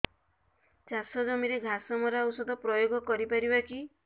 ଚାଷ ଜମିରେ ଘାସ ମରା ଔଷଧ ପ୍ରୟୋଗ କରି ପାରିବା କି